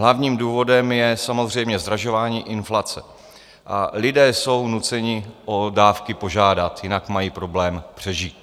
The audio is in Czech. Hlavním důvodem je samozřejmě zdražování, inflace, a lidé jsou nuceni o dávky požádat, jinak mají problém přežít.